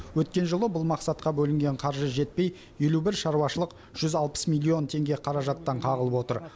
өткен жылы бұл мақсатқа бөлінген қаржы жетпей елу бір шаруашылық жүз алпыс миллион теңге қаражаттан қағылып отыр